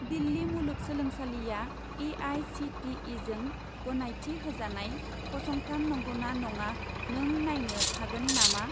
दिल्ली मुलुगसोलोंसालिआ ए.आइ.सि.टि.इ.जों गनायथि होजानाय फसंथान नंगौना नङा नों नायनो हागोन नामा?